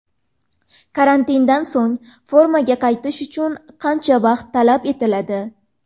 Karantindan so‘ng formaga qaytish uchun qancha vaqt talab etiladi?